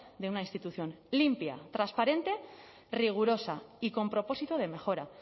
de una institución limpia transparente rigurosa y con propósito de mejora